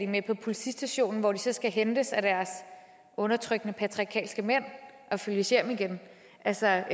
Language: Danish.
med på politistationen hvor de så skal hentes af deres undertrykkende patriarkalske mænd og følges hjem igen altså